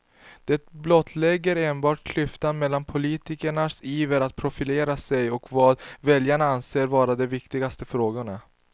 Det blottlägger enbart klyftan mellan politikernas iver att profilera sig och vad väljarna anser vara de viktigaste frågorna.